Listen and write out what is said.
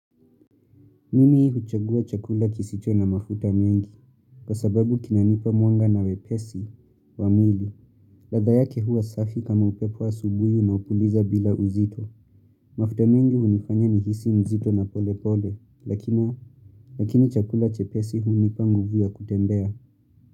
Mimi huchagua chakula kisicho na mafuta mengi, kwa sababu kinanipa mwanga na wepesi wa mili. Ladha yake hua safi kama upepo asubuhi na upuliza bila uzito. Mafuta mengi hunifanya nijisi mzito na pole pole, lakini chakula chepesi hunipa nguvu a kutembea.